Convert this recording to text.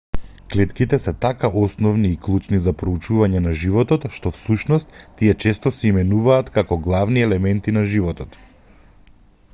клетките се така основни и клучни за проучувањето на животот што всушност тие често се именуваат како главни елементи на животот